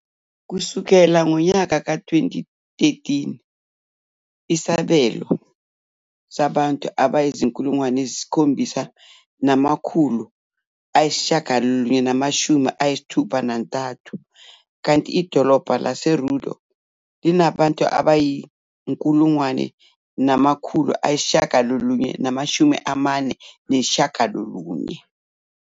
Kusukela ngonyaka ka-2013, inesibalo sabantu abayi-7,963, kanti idolobha laseRudo linabantu abayi-1,949.